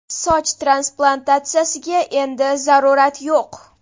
Soch transplantatsiyasiga endi zarurat yo‘q!.